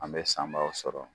An bɛ sanbaaw sɔrɔ.